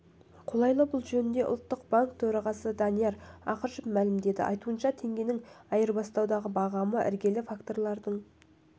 қолайлы бұл жөнінде ұлттық банк төрағасы данияр ақышев мәлімдеді айтуынша теңгенің айырбастау бағамы іргелі факторлардың